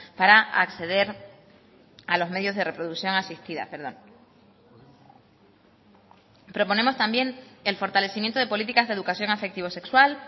para acceder a los medios de reproducción asistida proponemos también el fortalecimiento de políticas de educación afectivo sexual